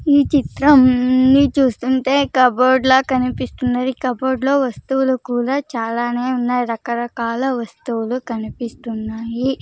ఈ చిత్రం ని చూస్తుంటే కబోర్డ్ లా కనిపిస్తున్నది కబోర్డ్ లో వస్తువులు కూడా చాలానే ఉన్నాయి రకరకాల వస్తువులు కనిపిస్తున్నాయి.